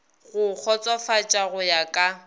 go kgotsofatša go ya ka